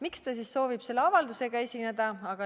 Miks ta siis soovib selle avaldusega esineda?